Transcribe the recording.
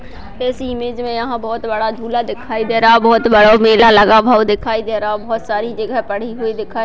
इस इमेज में यहाँ बहुत बड़ा झूला दिखाई दे रहा हैबहुत बड़ा मेला लगा भव दिखाई दे रहा है बहुत सारी जगह पड़ी हुई दिखाई --